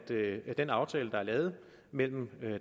det at den aftale der er lavet mellem